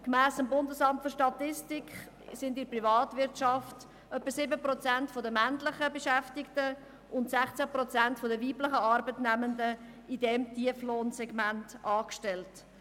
Gemäss Bundesamt für Statistik (BFS) sind in der Privatwirtschaft etwa 7 Prozent der männlichen Beschäftigten und 16 Prozent der weiblichen Arbeitnehmenden in diesem Tieflohnsegment angestellt.